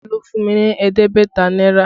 Olú fún mi ní ẹ̀ẹ́dẹ́gbẹ̀ta náírà